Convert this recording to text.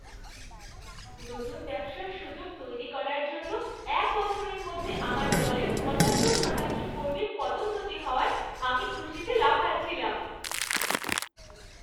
নতুন ব্যবসার সুযোগ তৈরি করার জন্য এক বছরের মধ্যে আমার দলের পঁচাত্তর শতাংশ কর্মীর পদোন্নতি হওয়ায় আমি খুশিতে লাফাচ্ছিলাম।